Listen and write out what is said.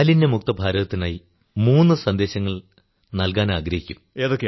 മാലിന്യമുക്ത ഭാരതത്തിനായി മൂന്നു സന്ദേശങ്ങൾ നല്കാനാഗ്രഹിക്കുന്നു